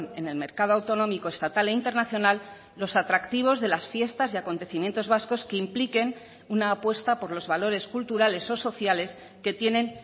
en el mercado autonómico estatal e internacional los atractivos de las fiestas y acontecimientos vascos que impliquen una apuesta por los valores culturales o sociales que tienen